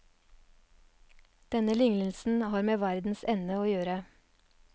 Denne lignelse har med verdens ende å gjøre.